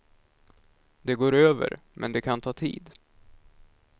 Det går över, men det kan ta tid.